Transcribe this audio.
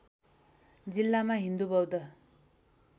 जिल्लामा हिन्दू बौद्ध